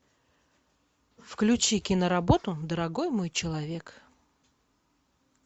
включи киноработу дорогой мой человек